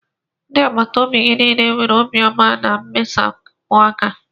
Ndị agbata obi gị niile nwere obiọma na mmesapụ aka